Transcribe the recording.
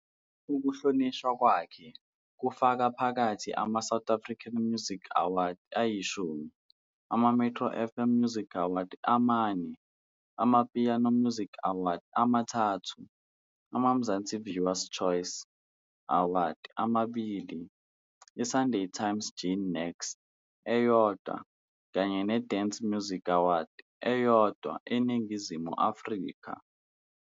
Ukuhlonishwa kwakhe kufaka phakathi ama-South African Music Awards ayishumi, ama-Metro FM Music Awards amane, ama-AmaPiano Music Awards amathathu, ama- Mzansi Viewers Choice Awards amabili, i-Sunday Times GenNext eyodwa, kanye ne-Dance Music Awards eyodwa eNingizimu Afrika.